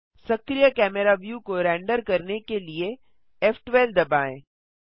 स्क्रीय camera view को render करने के लिए फ़12 दबाएँ